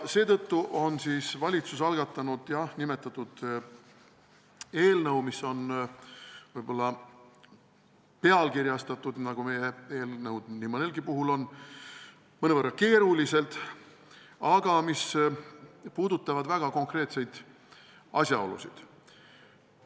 Seetõttu on valitsus algatanud nimetatud eelnõu, mis on võib-olla pealkirjastatud – nagu meie eelnõud nii mõnelgi puhul – mõnevõrra keeruliselt, aga mis käsitleb väga konkreetseid asjaolusid.